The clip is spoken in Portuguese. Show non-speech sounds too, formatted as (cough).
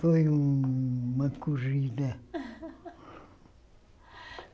Foi um uma corrida. (laughs)